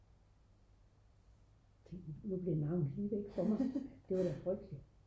nu blev navnet lige væk for mig det var da frygteligt